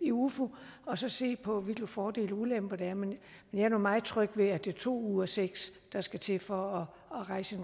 i ufo og så se på hvilke fordele og ulemper der er men jeg er nu meget tryg ved at det er to ud af seks der skal til for at rejse